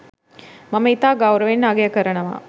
මම ඉතා ගෞරවයෙන් අගය කරනවා.